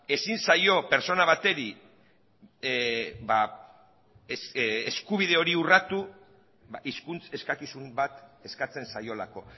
ezin zaio pertsona bateri eskubide hori urratu hizkuntz eskakizun bat eskatzen zaiolako